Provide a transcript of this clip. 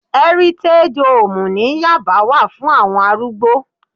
Ẹ́rítégí hoòmù ní yábà wà fún àwọn arúgbó